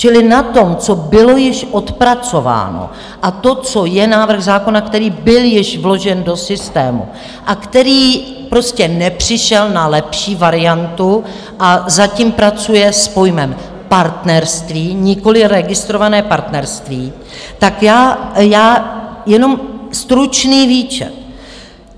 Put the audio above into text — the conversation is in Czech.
Čili na tom, co bylo již odpracováno, a to, co je návrh zákona, který byl již vložen do systému a který prostě nepřišel na lepší variantu a zatím pracuje s pojmem partnerství, nikoliv registrované partnerství, tak já jenom stručný výčet.